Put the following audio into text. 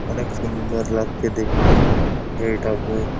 অনেক সুন্দর লাগছে দেখতে এইটাকে ।